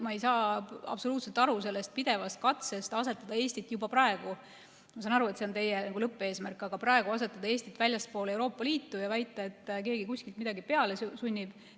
Ma ei saa absoluutselt aru sellest pidevast katsest asetada Eestit juba praegu – ma saan aru, et see on teie lõppeesmärk, aga praegu – väljaspoole Euroopa Liitu ja väita, et keegi kuskilt midagi peale sunnib.